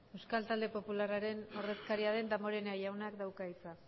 euskal talde popularraren ordezkaria den damborenea jaunak dauka hitza